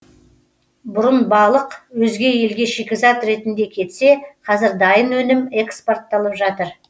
бұрын балық өзге елге шикізат ретінде кетсе қазір дайын өнім экспортталып жатыр